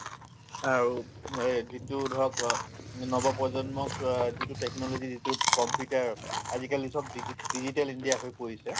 আৰু এই যিটো ধৰক অ নৱপ্ৰজন্মক অ যিটো technology যিটো computer আজিকালি চব digit digital india চব হৈ পৰিছে